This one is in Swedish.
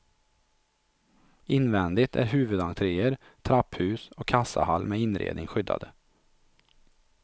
Invändigt är huvudentréer, trapphus och kassahall med inredning skyddade.